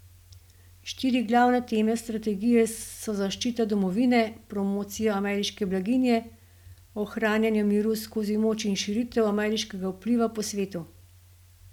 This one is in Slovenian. Štiri glavne teme strategije so zaščita domovine, promocija ameriške blaginje, ohranjanje miru skozi moč in širitev ameriškega vpliva po svetu.